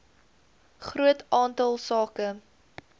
groot aantal sake